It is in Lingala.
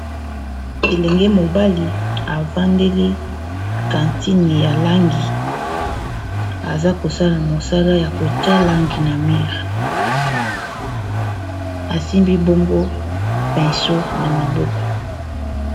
Elenge mobali evandeli kantine ya langi aza kosala mosala ya kotia langi na mire asimbi bongo penso na maboko